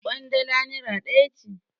Ƙwandala nera ɗaya ce.